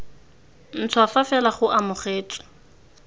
ntšhwa fa fela go amogetswe